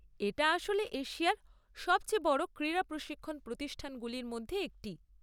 এটা আসলে এশিয়ার সবচেয়ে বড় ক্রীড়া প্রশিক্ষণ প্রতিষ্ঠানগুলির মধ্যে একটি।